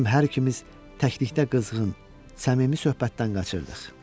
Bizim hər ikimiz təklikdə qızğın, səmimi söhbətdən qaçırdıq.